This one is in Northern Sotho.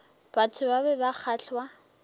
batho ba be ba kgahlwa